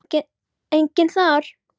Enginn þar.